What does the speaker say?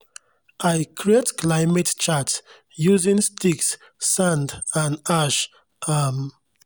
i create climate chart using sticks sand and ash. um